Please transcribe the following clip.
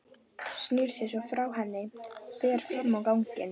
Snýr sér svo frá henni og fer fram á ganginn.